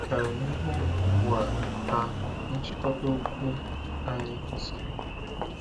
Ka anyị hụ ugbu a a nchịkọta okwu anyị kwesịrị iru.